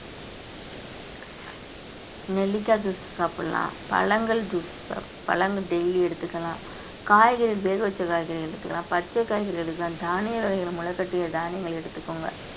நெல்லிக்காய் juice சாப்பிடலாம் பழங்கள் juice பழங்கள் daily எடுத்துக்கலாம் காய்கறி வேக வச்ச காய்கறி எடுத்துக்கலாம் பச்சை காய்கறி எடுத்துக்கலாம் தானிய வகைகள்ல முளைகட்டிய தானியங்கள் எடுத்துக்கோங்க